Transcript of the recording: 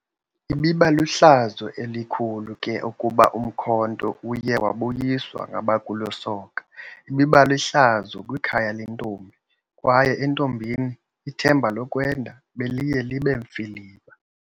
Ibibalihlazo elikhulu ke ukuba umkhonto uye wabuyiswa ngabakulo soka, ibibalihlazo kwikhaya lentombi kwaye entombini ithemba lokwenda beliye libemfiliba.